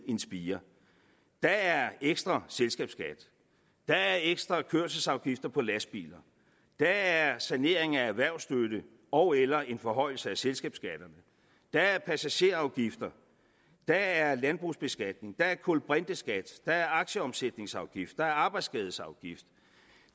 en spire der er ekstra selskabsskat der er ekstra kørselsafgifter på lastbiler der er sanering af erhvervsstøtte ogeller en forhøjelse af selskabsskatterne der er passagerafgifter der er landbrugsbeskatning der er en kulbrinteskat der er aktieomsætningsafgift der er arbejdsskadesafgift